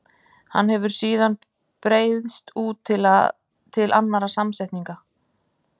Hann hefur síðan breiðst út til annarra samsetninga.